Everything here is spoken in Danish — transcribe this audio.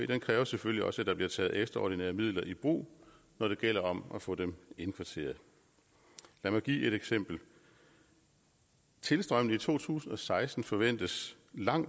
det kræver selvfølgelig også at der bliver taget ekstraordinære midler i brug når det gælder om at få dem indkvarteret lad mig give et eksempel tilstrømningen i to tusind og seksten forventes